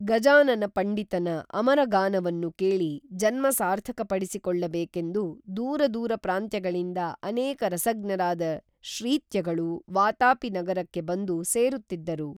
ಗಜಾನನ ಪಂಡಿತನ ಅಮರಗಾನವನ್ನು ಕೇಳಿ ಜನ್ಮ ಸಾರ್ಥಕ ಪಡಿಸಿಕೊಳ್ಳಬೇಕೇಂದು ದೂರ ದೂರ ಪ್ರಾಂತ್ಯಗಳಿಂದ ಅನೇಕ ರಸಜ್ಞರಾದ ಶ್ರೀತ್ಯಗಳು ವಾತಾಪಿ ನಗರಕ್ಕೆ ಬಂದು ಸೇರುತ್ತಿದ್ದರು